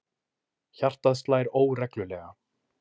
Hjartað slær óreglulega.